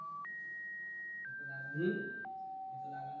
ह ते तर लागलच न